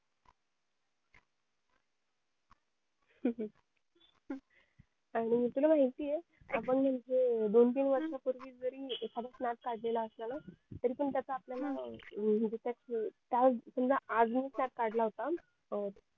आणि तुला माहिती ये आपण नेमकं दोन तीन वर्षा पूर्वी जरी एखादा snap काढलेला असला ना तरी पाम आपल्याला काय त्याची समजा आज मी एक snap काढला होता अं